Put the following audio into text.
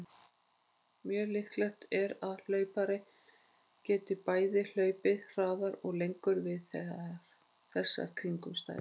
Mjög líklegt er að hlaupari geti bæði hlaupið hraðar og lengur við þessar kringumstæður.